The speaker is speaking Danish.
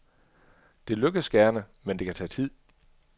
Det lykkes gerne, men kan tage tid.